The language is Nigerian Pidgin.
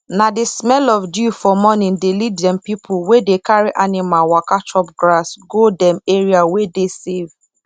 na the smell of dew for morning dey lead dem pipu wey dey carry animal waka chop grass go dem area wey dey safe